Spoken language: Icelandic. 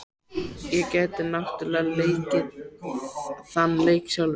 Ég gæti náttúrlega leikið þann leik sjálf.